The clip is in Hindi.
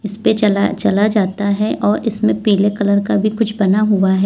इसपे चला चला जाता है और इसमें पीले कलर का भी कुछ बना हुआ है।